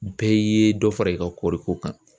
Bɛɛ ye dɔ fara i ka kɔɔriko kan.